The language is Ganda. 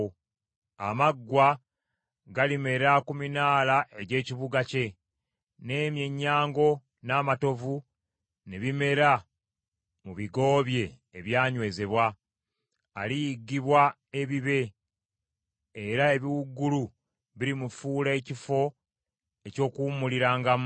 Amaggwa galimera ku minaala egy’ekibuga kye, n’emyennyango n’amatovu ne bimera mu bigo bye ebyanywezebwa. Aliyiggibwa ebibe, era ebiwuugulu birimufuula ekifo eky’okuwummulirangamu.